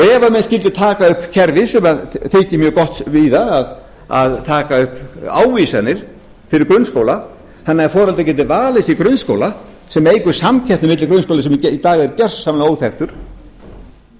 ef menn skyldu taka upp kerfi sem þykir mjög gott víða að taka upp ávísanir fyrir grunnskóla þannig að foreldrar geti valið sér grunnskóla sem eykur samkeppni milli grunnskólans sem í dag er gjörsamlega